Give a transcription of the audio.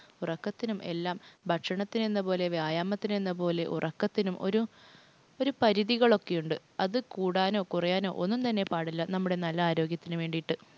ഉറക്കത്തിനും എല്ലാം ഭക്ഷണത്തിനെന്ന പോലെ വ്യായാമത്തിനെന്ന പോലെ ഉറക്കത്തിനും ഒരു പരിധികളൊക്ക ഉണ്ട്. അത് കൂടാനോ കുറയാനോ ഒന്നും തന്നെ പാടില്ല. നമ്മുടെ നല്ല ആരോഗ്യത്തിനു വേണ്ടീട്ട്